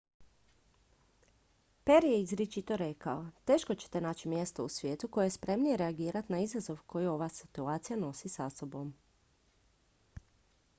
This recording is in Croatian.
"perry je izričito rekao: "teško ćete naći mjesto u svijetu koje je spremnije reagirati na izazov koji ova situacija sa sobom nosi.